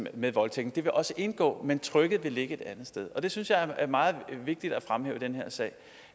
med voldtægten det vil også indgå men trykket vil ligge et andet sted og det synes jeg er meget vigtigt at fremhæve i den her sag